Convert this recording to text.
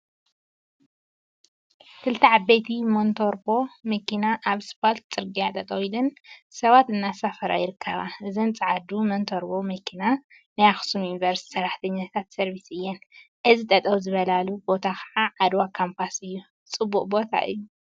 ክልተ ዓበይቲ ሞንታርቦ መኪና ኣብ ስፓልት ጽርግያ ጠጠው ኢለን ሰባት እናሳፈራ ይርከባ። እዘን ጸዓዱ ሞንታርቦ መኪና ናይ ኣክሱም ዩኒቨርሲቲ ስራሕትኛታት ሰርቪስ እየን። እዚ ጠጠው ዝበላሉ ቦታ ከዓ ዓድዋ ካምፓስ እዩ። ጽቡቅ ቦታ እዩ።